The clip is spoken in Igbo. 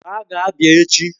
Gbaa gaa Abia echi!